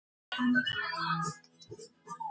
Hann braut og bramlaði allt sem fyrir honum varð.